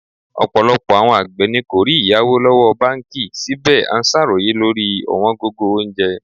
Ọ̀pọ̀lọpọ̀ àwọn àgbẹ̀ ni kò rí ìyáwó lọ́wọ́ báńkì, síbẹ̀ à ń ṣàròyé lórí ọ̀wọ́n gógó oúnjẹ.